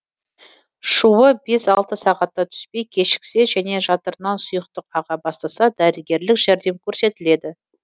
шуы бес алты сағатта түспей кешіксе және жатырынан сұйықтық аға бастаса дәрігерлік жәрдем көрсетіледі